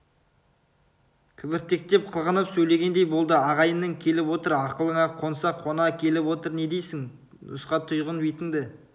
кібіртіктеп қылғынып сөйлегендей болды ағайының келіп отыр ақылыңа қоңсы қона келіп отыр не дейсің нұсқайтұғын бетіңді